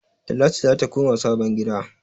Talatu zata koma sabon gida